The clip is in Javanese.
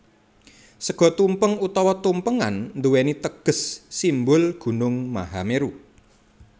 Sega tumpeng utawa tumpengan nduwèni teges simbol gunung Mahameru